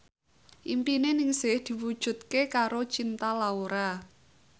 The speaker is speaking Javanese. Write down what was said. impine Ningsih diwujudke karo Cinta Laura